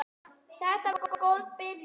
Þetta var góð byrjun.